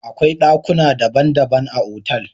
Akwai dakuna dabban dabban a otal.